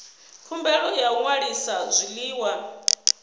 khumbelo ya u ṅwalisa zwiḽiwa